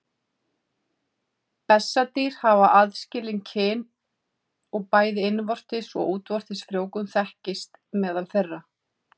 Bessadýr hafa aðskilin kyn og bæði innvortis og útvortis frjóvgun þekkist meðal þeirra.